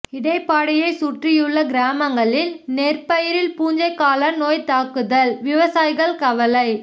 இடைப்பாடிைய சுற்றியுள்ள கிராமங்களில் நெற்பயிரில் பூஞ்சை காளான் நோய் தாக்குதல் விவசாயிகள் கவலை